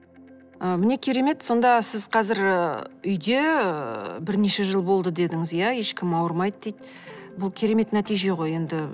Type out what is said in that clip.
ы міне керемет сонда сіз қазір ы үйде ыыы бірнеше жыл болды дедіңіз иә ешкім ауырмайды дейді бұл керемет нәтиже ғой енді